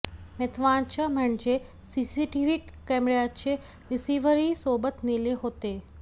महत्त्वाचं म्हणजे सीसीटीव्ही कॅमेऱ्याचे रिसिव्हरही सोबत नेले होते